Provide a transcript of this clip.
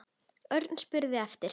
Örn spurði eftir